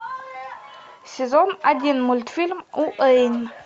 сезон один мультфильм уэйн